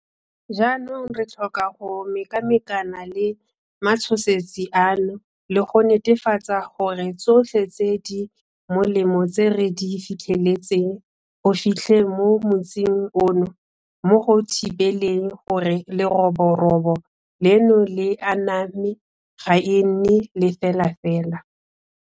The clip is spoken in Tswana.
Jaanong re tlhoka go mekamekana le matshosetsi ano le go netefatsa gore tsotlhe tse di molemo tse re di fitlheletseng go fitlheng mo motsing ono mo go thibeleng gore leroborobo leno le aname ga e nne lefelafela.